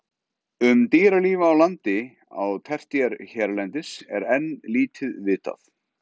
Um dýralíf á landi á tertíer hérlendis er enn lítið vitað.